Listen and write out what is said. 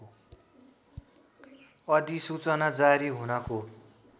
अधिसूचना जारी हुनको